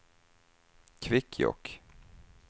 Kvikkjokk